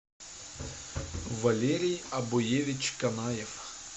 валерий обуевич канаев